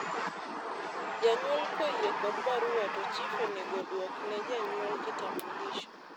janyuol koyie kod barua to chif onego dwokne janyual kitambulisho